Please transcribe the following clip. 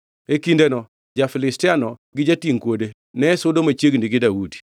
E kindeno, ja-Filistiano gi jatingʼ kuode, ne sudo machiegni gi Daudi.